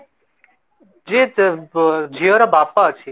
ଯିଏ ଝିଅ ର ବାପା ଅଛି